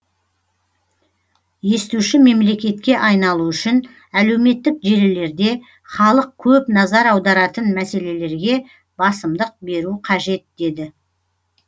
естуші мемлекетке айналу үшін әлеуметтік желілерде халық көп назар аударатын мәселелерге басымдық беру қажет деді